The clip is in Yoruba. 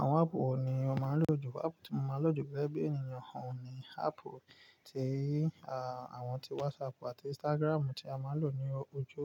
Àwọn áàpù wo ni o máa lò ju? Áàpù tí mo máa lò jù gegeẹ́ ènìyàn oun ní áàpù tí, àwọn tí WhatsApp àti Instagram tí a máa ń lò ní ojú